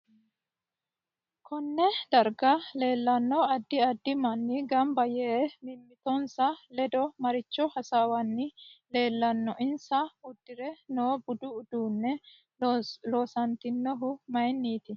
KOnne darga leelanno addi addi manni ganbba yee mimitinsa ledo maricho hasaawanni leelanno insa udure noo budu uddanno loosantinohu mayiiniti